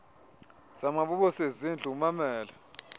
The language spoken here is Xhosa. zamabobosi ezindlu ummamele